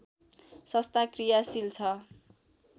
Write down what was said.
संस्था कृयाशील छ